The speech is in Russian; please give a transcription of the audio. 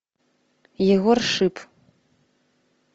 егор шип